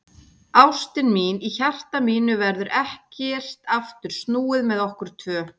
Ástin mín, í hjarta mínu verður ekkert aftur snúið með okkur tvö.